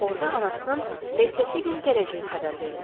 Orda anasının ertəsi gün gələcəyi xəbər verilirdi.